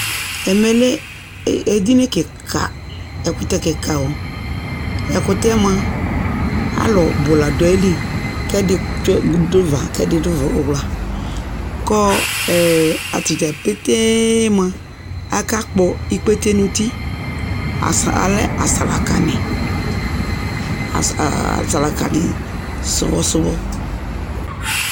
Ɛmɛ lɛ edini kιka, ɛkʋtɛ kιka o Ɛkʋtɛ yɛ mʋa alʋ bʋ la dʋ ayili, kʋ ɛdι tsyue, dʋ nʋ ʋva kʋ ɛdι dʋ ʋwla, kʋ atadza petee mua, akakpɔ ikpete nʋ uti, alɛ asalaka nι,asalakanι sʋbɔsʋbɔ